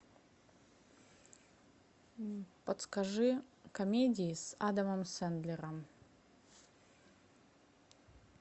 подскажи комедии с адамом сэндлером